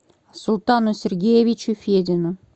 султану сергеевичу федину